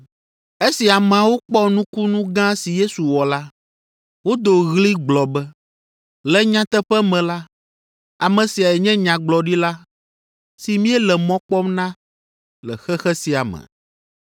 Esi ameawo kpɔ nukunu gã si Yesu wɔ la, wodo ɣli gblɔ be, “Le nyateƒe me la, ame siae nye Nyagblɔɖila si míele mɔ kpɔm na le xexe sia me.”